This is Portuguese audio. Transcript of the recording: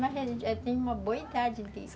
Mas eu já tenho uma boa idade disso.